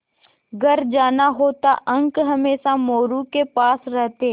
घर जाना होता अंक हमेशा मोरू के पास रहते